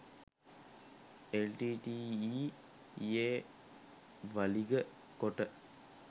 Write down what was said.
එල්.ටී.ටී.ඊ.යේ වළිග කොට